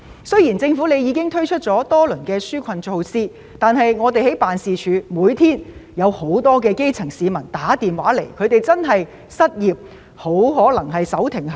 雖然政府已推出多輪紓困措施，但我們的辦事處每天都收到基層市民來電，表示他們面臨失業，很可能手停口停。